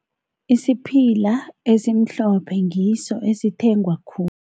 Isiphila esimhlophe ngiso esithengwa khulu.